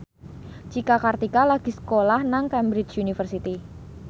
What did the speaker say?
Cika Kartika lagi sekolah nang Cambridge University